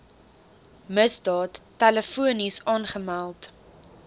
misdaad telefonies aangemeld